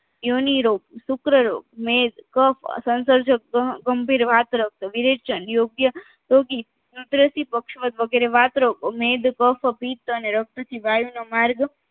યોનિરોગ શુક્રરોગ મેદ કફ સંસર્જક ગંભીર વાતરક્ત વિરેચન યોગ્ય યોગી કુદરતી પક્ષવદ વગેરે વાતરક્ત મેદ કફ પિત્ત અને રક્ત થી વાયુનો માર્ગ